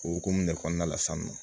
O hokumu de kɔnɔna la sisan nɔ